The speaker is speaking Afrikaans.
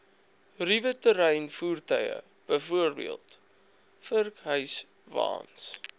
ruweterreinvoertuie bv vurkhyswaens